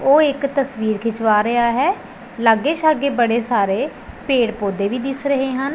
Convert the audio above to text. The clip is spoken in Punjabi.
ਓਹ ਇੱਕ ਤਸਵੀਰ ਖਿੰਚਵਾ ਰਿਹਾ ਹੈ ਲੱਗੇ ਸ਼ੱਗੈ ਬੜੇ ਸਾਰੇ ਪੇੜ ਪੌਧੇ ਵੀ ਦਿੱਸ ਰਹੇ ਹਨ।